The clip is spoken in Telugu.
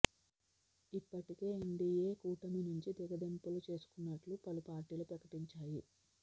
ఇప్పటికే ఎన్డీయే కూటమి నుంచి తెగదెంపులు చేసుకుంటున్నట్లు పలు పార్టీలు ప్రకటించాయి